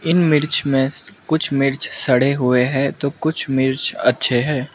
इन मिर्च में कुछ मिर्च सड़े हुए है तो कुछ मिर्च अच्छे हैं।